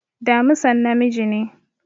Damisan namiji ne